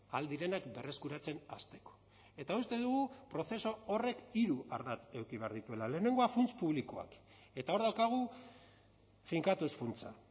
ahal direnak berreskuratzen hasteko eta uste dugu prozesu horrek hiru ardatz eduki behar dituela lehenengoa funts publikoak eta hor daukagu finkatuz funtsa